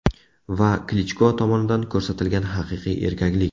Va Klichko tomonidan ko‘rsatilgan haqiqiy erkaklik.